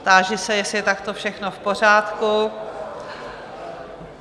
Táži se, jestli je takto všechno v pořádku?